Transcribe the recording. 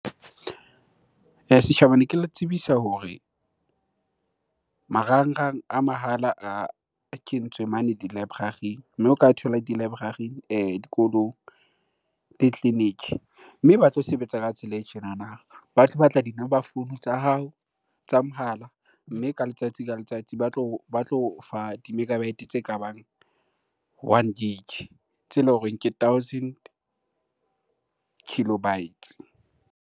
Setjhaba ne ke le tsebisa hore marangrang a mahala a kentswe mane di-library-ing mme o ka thola di-library dikolong tleliniki. Mme ba tlo sebetsa ka tsela e tjenana, ba tlo batla di-number founu tsa hao tsa mohala. Mme ka letsatsi ka letsatsi ba tlo o fa di-megabyte tse kabang one gig tse leng hore ke thousand kilobytes.